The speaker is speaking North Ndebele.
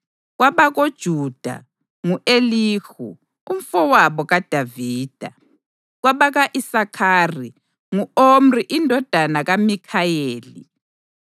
kwabakoJuda: ngu-Elihu, umfowabo kaDavida; kwabaka-Isakhari: ngu-Omri indodana kaMikhayeli;